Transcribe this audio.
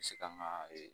Se kan ka